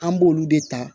An b'olu de ta